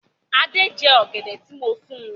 Adé jẹ́ ọ̀gẹ̀dẹ̀ tí mo fún.